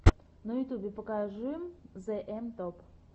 на ютюбе покажи зээм топ